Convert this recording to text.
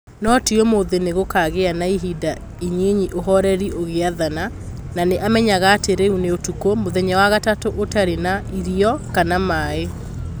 No ti ũmũthĩ Nĩ gũkaagĩa na ihinda inyinyi ũhoreri ũgĩathana, na nĩ amenyaga atĩ rĩu nĩ ũtukũ, mũthenya wa gatatũ ũtarĩ na irio kana maaĩ.